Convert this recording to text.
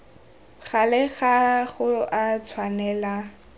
gale ga go a tshwanela